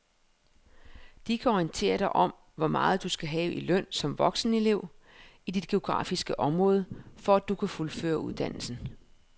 De kan orientere dig om hvor meget du skal have i løn som voksenelev i dit geografiske område, for at du kan fuldføre uddannelsen.